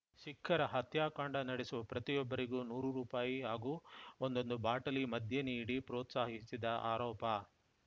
ಸಿಖ್ಖರ ಹತ್ಯಾಕಾಂಡ ನಡೆಸುವ ಪ್ರತಿಯೊಬ್ಬರಿಗೂ ನೂರು ರೂಪಾಯಿ ಹಾಗೂ ಒಂದೊಂದು ಬಾಟಲಿ ಮದ್ಯ ನೀಡಿ ಪ್ರೋತ್ಸಾಹಿಸಿದ ಆರೋಪ